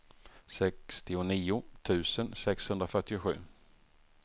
sextionio tusen sexhundrafyrtiosju